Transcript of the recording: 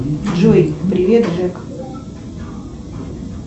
джой привет джек